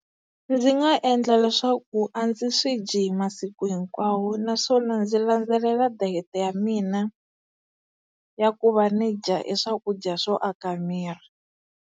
Ndzi nga endla leswaku a ndzi swi dyi hi masiku hinkwawo naswona ndzi landzelela diet-e ya mina ya ku va ni dya e swakudya swo aka miri.